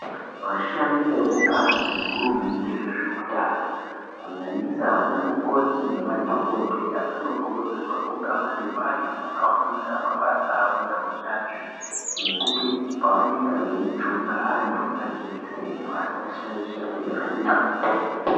Vashandi vekubazi rehurumende rezveutano kunyanyisa vanamukoti nemadhokodheya vanokurudzirwa kunga vari vantu vakafundira mabasa avo neunyanzvi nekuti pavanenge vachijunga vantu majekiseni vasashaishe kujunga.